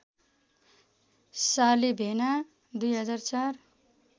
साली भेना २००४